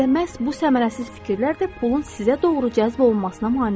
Elə məhz bu səmərəsiz fikirlər də pulun sizə doğru cəzb olunmasına mane olur.